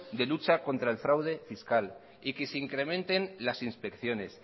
de lucha contra el fraude fiscal y que se incrementen las inspecciones